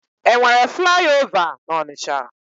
E nwere flaị ova n'Ọnịcha?